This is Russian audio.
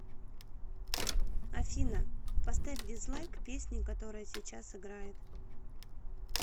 афина поставь дизлайк песни которая сейчас играет